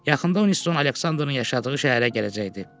Yaxında Winstoun Aleksandrın yaşadığı şəhərə gələcəkdi.